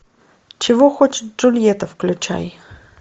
чего хочет джульетта включай